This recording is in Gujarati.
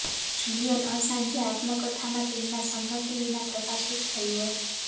જુલિયન અસાંજે આત્મકથામાં તેમના સંમતિ વિના પ્રકાશિત થયું હતું